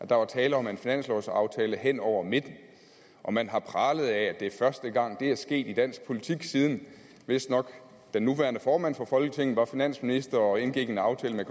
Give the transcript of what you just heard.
der var tale om en finanslovsaftale hen over midten og man har pralet af at det er første gang det er sket i dansk politik siden vistnok den nuværende formand for folketinget var finansminister og indgik en aftale med